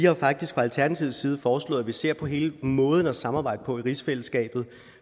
vi har faktisk fra alternativets side foreslået at vi ser på hele måden at samarbejde på i rigsfællesskabet